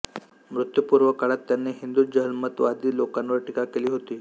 मृत्यूपूर्व काळात त्यांनी हिंदु जहालमतवादी लोकांवर टीका केली होती